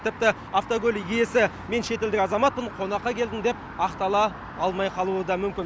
тіпті автокөлік иесі мен шетелдік азаматпын қонаққа келдім деп ақтала алмай қалуы мүмкін